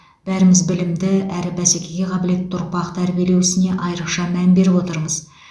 бәріміз білімді әрі бәсекеге қабілетті ұрпақ тәрбиелеу ісіне айрықша мән беріп отырмыз